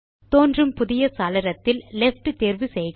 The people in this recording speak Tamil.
தோன்றும் புதிய சாளரத்தில் லெஃப்ட் தேர்வு செய்க